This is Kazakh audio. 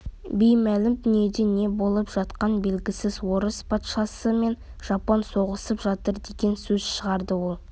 беймәлім дүниеде не болып жатқаны белгісіз орыс патшасы мен жапон соғысып жатыр деген сөз шығады ол